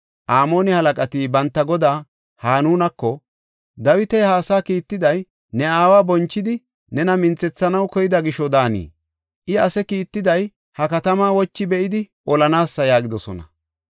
Amoone halaqati banta godaa Hanunako, “Dawiti ha asaa kiittiday ne aawa bonchidi nena minthethanaw koyida gisho daanii? I ase kiittiday ha katamaa wochi be7idi olanaasa” yaagidosona.